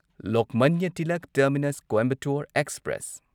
Lokmanya Tilak terminus Coimbatore express